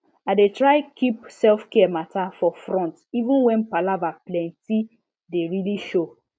i dey try keep selfcare matter for front even when palava plentye dey really show